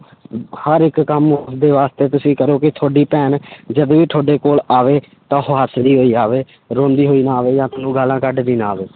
ਹਰ ਇੱਕ ਕੰਮ ਦੇ ਵਾਸਤੇ ਤੁਸੀਂ ਕਰੋ ਕਿ ਤੁਹਾਡੀ ਭੈਣ ਜਦ ਵੀ ਤੁਹਾਡੇ ਕੋਲ ਆਵੇ, ਤਾਂ ਉਹ ਹੱਸਦੀ ਹੋਈ ਆਵੇ, ਰੋਂਦੀ ਹੋਈ ਨਾ ਆਵੇ ਜਾਂ ਤੁਹਾਨੂੰ ਗਾਲਾਂ ਕੱਢਦੀ ਨਾ ਆਵੇ।